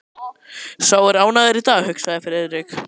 Sá er ánægður í dag, hugsaði Friðrik.